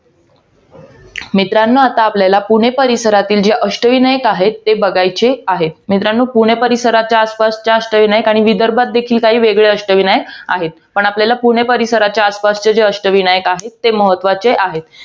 मित्रांनो आता आपल्याला, पुणे परिसरातील जे अष्टविनायक आहेत, ते बघायचे आहेत. मित्रांनो, पुण्याच्या आसपासचे अष्टविनायक आणि विदर्भात देखील काही अष्टविनायक आहेत. पण आपल्याला पुणे परिसराच्या आसपासचे जे अष्टविनायक आहेत, ते महत्वाचे आहेत.